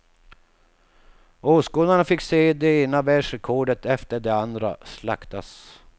Åskådarna fick se det ena världsrekordet efter det andra slaktas.